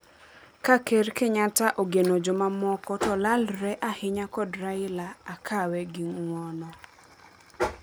"Ka ker Kenyatta ogeno jomamoko to lalolre ahinya kod Raila, akawe gi ng'uono.